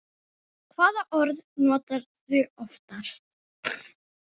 Hvaða orð notarðu oftast?